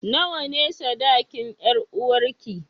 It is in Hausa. Nawa ne sadakin 'yaruwarka?